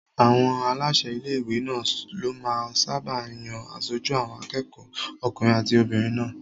Àwọn aláṣẹ ilé-ìwé náà ló máa ń sáábà yan aṣojú àwọn akẹ́kọ̀ọ́ okùnrin àti obìnrin náà